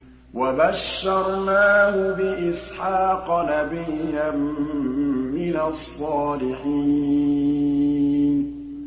وَبَشَّرْنَاهُ بِإِسْحَاقَ نَبِيًّا مِّنَ الصَّالِحِينَ